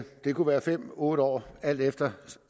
det kunne være fem otte år alt efter